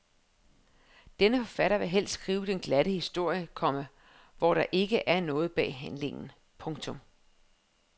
Denne forfatter vil helst skrive den glatte historie, komma hvor der ikke er noget bag handlingen. punktum